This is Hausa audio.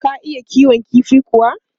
Ka iya kiwon kifi kuwa?